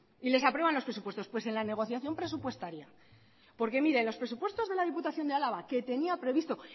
y les aprueban los presupuestos pues en la negociación presupuestaria porque mire en los presupuestos de la diputación de álava que tenía previsto